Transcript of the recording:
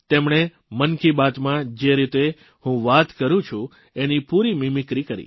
તેમણે મન કી બાતમાં જે રીતે હું વાત કરૂં છું એની પૂરી મીમીક્રી કરી